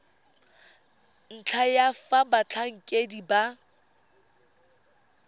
ntlha ya fa batlhankedi ba